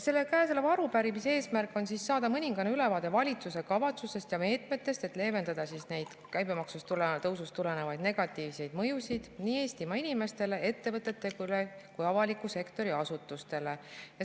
Selle käesoleva arupärimise eesmärk on saada mõningane ülevaade valitsuse kavatsustest ja meetmetest, et leevendada neid käibemaksu tõusust tulenevaid negatiivseid mõjusid nii Eestimaa inimestele, ettevõtetele kui ka avaliku sektori asutustele.